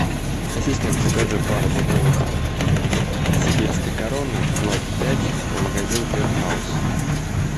ассистент закажи пару бутылок сибирской короны ноль пять магазин бенхаус